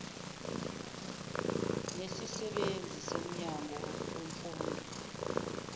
nesisebenzi somnyango wemfundo